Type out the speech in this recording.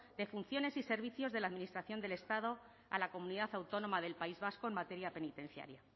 de funciones y servicios de la administración del estado a la comunidad autónoma del país vasco en materia penitenciaria